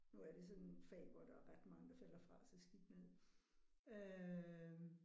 Nu er det sådan et fag hvor der er ret mange der falder fra så skidt med det øh